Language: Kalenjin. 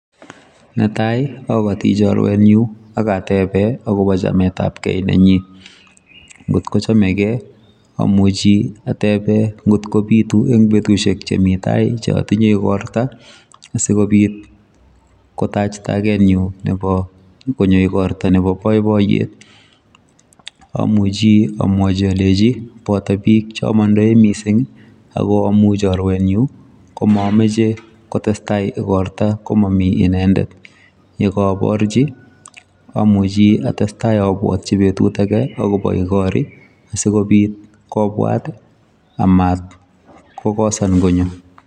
Netai akotii chorwenyun, ak ateben akobo chametabgeei nenyiin angot kochomegee amuchi ateben angot kobiitu en betusiek chemi tai cheotindoi igortoo, asikobiit Kotach tagenyun Nebo konyo igortoo Nebo boiboiyet, amuchi amwachi alenji botoo bik cheomondoi missing I,ak ingamun chorwenyun komamache kotestai igortoo komomii inendet, yekooborchi amuchi atestai abwotyii betut age akobo igorii sikobiit kobwat amat kokosan konyoo